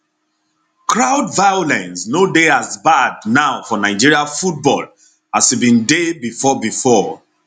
crowd violence no dey as bad now for nigeria football as e bin dey bifor bifor